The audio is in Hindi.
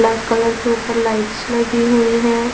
ब्लैक कलर के ऊपर लाइट्स लगी हुई हैं।